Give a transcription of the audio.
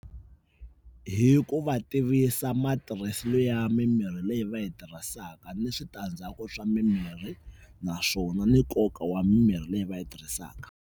Hi ku va tivisa matirhiselo ya mimirhi leyi va yi tirhisaka, ni switandzhaku swa mimirhi naswona ni nkoka wa mimirhi leyi va yi tirhisaka.